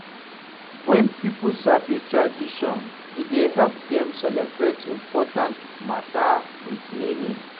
Wen pipo sabi tradition, e dey help dem celebrate important mata wit meaning.